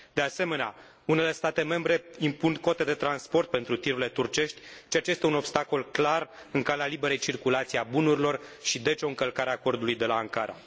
De asemenea, unele state membre impun cote de transport pentru tirurile turcești, ceea ce este un obstacol clar în calea liberei circulații a bunurilor și, deci, o încălcare a Acordului de la Ankara.